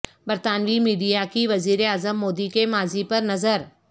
برطانوی میڈیا کی وزیر اعظم مودی کے ماضی پر نظر